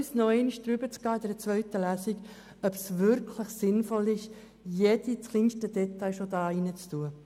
Lassen Sie uns für die zweite Lesung noch einmal diskutieren, ob es wirklich sinnvoll ist, jedes kleinste Detail bereits im Gesetz zu verankern.